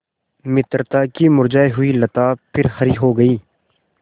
मित्रता की मुरझायी हुई लता फिर हरी हो गयी